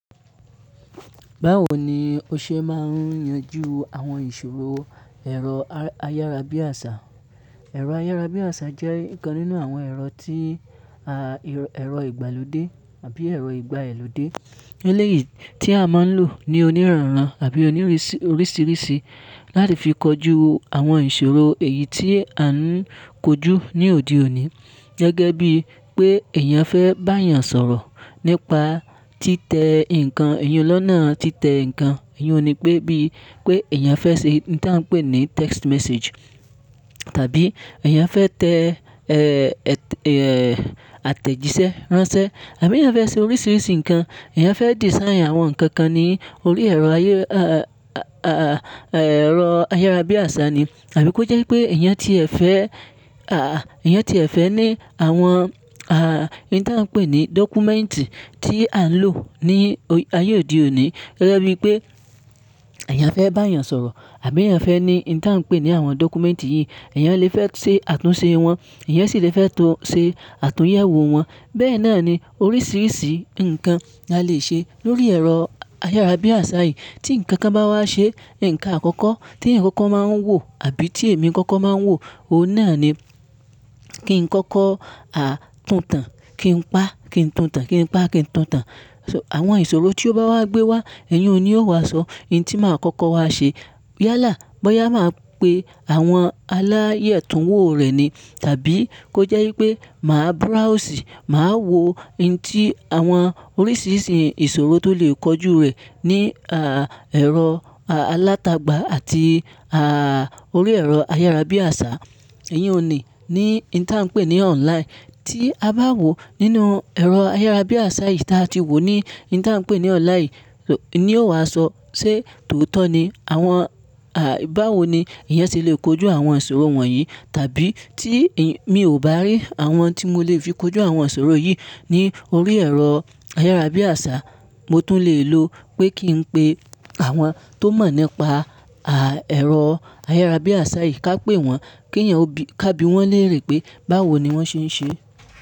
Báwo ni o ṣe máa ń yanjú àwọn ìṣòro ẹ̀rọ ayárabíàṣá? Ẹ̀rọ ayárabíàṣá jẹ́ ọ̀kan nínú àwọn ẹ̀rọ tí ẹ̀rọ ìgbàlódé àbí ẹ̀rọ ìgbà elódé eléyìí tí a máa ń lò ní onírọ̀rùn àbí oníìrísíríṣìí láti fi kojú àwọn ìṣòro èyí tí a ń kojú ní òdí òní. Gẹ́gẹ́ bí pé èèyàn fẹ́ bá èèyàn sọ̀rọ̀ nípa títẹ nǹkan, èèyàn lọ́nà títẹ nǹkan, èèyàn ni pé bí pé èèyàn fẹ́ ṣe ohun tí à ń pè ní text message, tàbí èèyàn fẹ́ tẹ àtẹ̀jíṣẹ́ ránṣẹ́ àbí èèyàn fẹ́ ṣe oríṣìíríṣìí nǹkan, èèyàn fẹ́ design àwọn nǹkan kan ní orí ẹ̀rọ ayé, ẹ̀rọ ayárabíàṣá ni. Àbí kó jẹ́ pé èèyàn tié fẹ́, èèyàn tié fẹ́ ní àwọn ohun tí à ń pè ní dọ́kúmẹ́ǹtì tí à ń lò ní ayé òdí òní. Gẹ́gẹ́ bí pé èèyàn fẹ́ bá èèyàn sọ̀rọ̀ àbí èèyàn fẹ́ ní ohun tí à ń pè ní àwọn dọ́kúmẹ́ǹtì yìí, èèyàn lè fẹ́ ṣe àtúnṣe wọn, èèyàn sì lè fẹ́ ṣe àtúnyẹ̀wò wọn. Bẹ́ẹ̀ náà ni oríṣìíríṣìí nǹkan la lè ṣe lórí ẹ̀rọ ayárabíàṣá yìí. Tí nǹkan kan bá wá ṣe nǹkan àkọ́kọ́ tí ẹ̀yàn kọ́kó máa ń wò àbí tí èmi kọ́kọ́ máa ń wò, òun náà ni kí n kọ́kọ́ tuntàn, kí n pa, kí n tuntàn, kí n pa, kí n tuntàn. Ṣé àwọn ìṣòro tí ó bá wá gbé wá, èyún ni yóò wá sọ ohun tí màá kọ́kọ́ wa ṣe. Yálà, bóyá màá pe àwọn aláàyè túnwó rẹ̀ ni tàbí kó jẹ́ wípé màá browse, màá wo ohun tí àwọn oríṣìíríṣìí ìṣòro tó lè kojú rẹ̀ ní ẹ̀rọ alátagbà àti orí ẹ̀rọ ayárabíàṣá. Èèyàn ni ní ohun tí à ń pè ní online tí a bá wò nínú ẹ̀rọ ayárabíàṣá yìí tí a ti wò ní ohun tí à ń pè ní online yìí ni yóò wá sọ sé tòótọ́ ni àwọn báwo ni èèyàn sé lè kojú àwọn ìṣòro wọ̀nyí tàbí tí mi ò bá rí àwọn tí mo lè fi kojú àwọn ìṣòro yìí ní orí ẹ̀rọ ayárabíàṣá, mo tún lè lo pé kí n pe àwọn tó mọ̀ nípa ẹ̀rọ ayárabíàṣá yìí, ká pè wọ́n, kí èèyàn ká bi wọ́n léèrè pé báwo ni wọ́n ṣe ń ṣe.